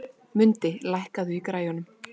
Mundi, lækkaðu í græjunum.